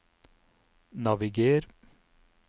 naviger